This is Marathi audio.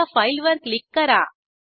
आता फाईलवर क्लिक करा